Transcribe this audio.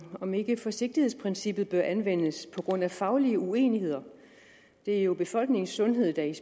om ikke forsigtighedsprincippet bør anvendes på grund af faglige uenigheder det er jo befolkningens sundhed der